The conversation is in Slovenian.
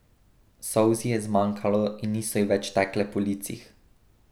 Solz ji je zmanjkalo in niso ji več tekle po licih.